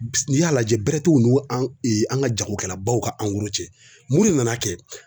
N'i y'a lajɛ bɛrɛ n'u an ka jagokɛlabaw ka minnu nan'a kɛ